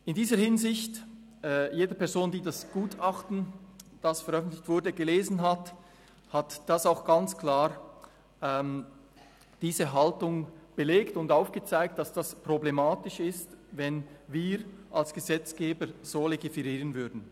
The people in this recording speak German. In dieser Hinsicht: Jede Person, die das Gutachten, das veröffentlicht wurde, gelesen hat, hat diese Haltung auch ganz klar belegt und aufgezeigt, dass es problematisch ist, wenn wir als Gesetzgeber so legiferieren würden.